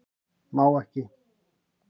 Má ekki